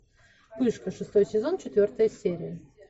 пышка шестой сезон четвертая серия